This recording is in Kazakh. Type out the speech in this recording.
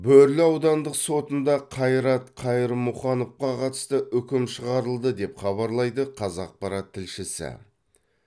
бөрлі аудандық сотында қайрат қайырмұхановқа қатысты үкім шығарылды деп хабарлайды қазақпарат тілшісі